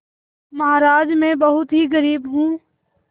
महाराज में बहुत ही गरीब हूँ